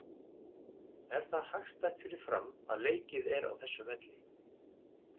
Er það hagstætt fyrir Fram að leikið er á þessum velli?